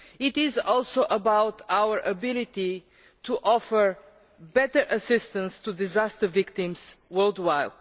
It is also about our ability to offer better assistance to disaster victims worldwide.